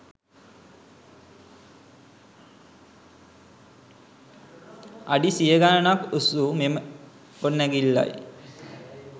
අඩි සිය ගණනක් උස් වූ මෙම ගොඩනැගිල්ලයි